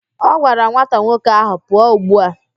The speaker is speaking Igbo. Ọ gwara nwata nwoke ahụ, pụọ ugbu a!